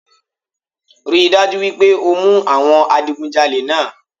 Rí i dájú wípé o mú àwọn adigunjalé náà